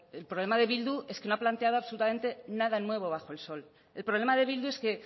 el problema de bildu es que no ha planteado absolutamente nada nuevo bajo el sol el problema de bildu es que